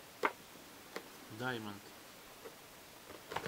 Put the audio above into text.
даймонд